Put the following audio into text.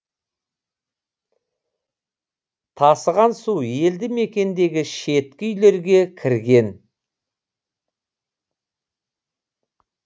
тасыған су елді мекендегі шеткі үйлерге кірген